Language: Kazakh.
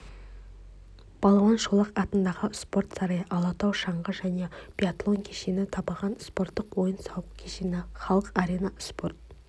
балуан шолақ атындағы спорт сарайы алатау шаңғы және биатлон кешені табаған спорттық ойын-сауық кешені халық-арена спорт